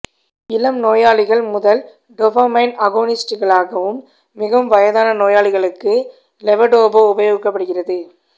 இளம் நோயாளிகள் முதல் டோபமைன் அகோனிஸ்ட்களாகவும் மேலும் வயதான நோயாளிகளுக்கு லெவோடோபா உபயோகிக்கப்படுகிறது